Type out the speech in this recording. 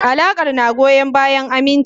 Alakar na goyon bayan aminci.